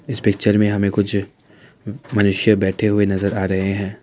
इस पिक्चर में हमें कुछ मनुष्य बैठे हुए नजर आ रहे हैं।